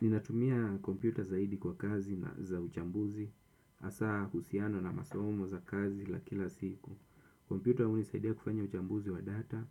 Ninatumia kompyuta zaidi kwa kazi na za uchambuzi, hasa husiano na masomo za kazi za kila siku. Kompyuta hunisaidia kufanya uchambuzi wa data,